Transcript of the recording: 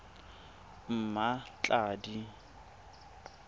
mmatladi